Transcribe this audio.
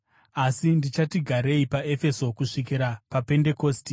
Asi ndichati garei paEfeso kusvikira paPendekosti,